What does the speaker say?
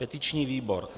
Petiční výbor: